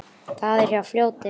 Það er hjá fljóti.